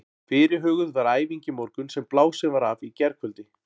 Fyrirhuguð var æfing í morgun sem blásin var af í gærkvöldi.